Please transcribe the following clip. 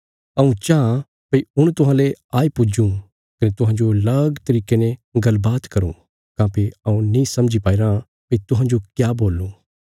हऊँ चाँह भई हुण तुहांले आई पुज्जुँ कने तुहांजो लग तरिके ने गल्लबात करूँ काँह्भई हऊँ नीं समझी पाईराँ भई तुहांजो क्या बोलूं